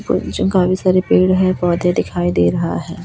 सारे पेड़ है पौधे दिखाई दे रहा है।